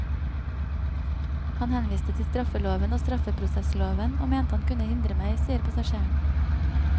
Han henviste til straffeloven og straffeprosessloven, og mente han kunne hindre meg, sier passasjeren.